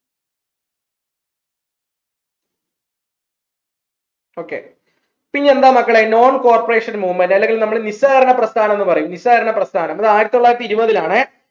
okay പിന്നെന്താ മക്കളെ non corporation movement അല്ലെങ്കിൽ നമ്മൾ നിസ്സാരണ പ്രസ്ഥാനം ന്ന് പറയും നിസ്സാരണ പ്രസ്ഥാനം ആയിരത്തി തൊള്ളായിരത്തി ഇരുപതിൽ ആണേ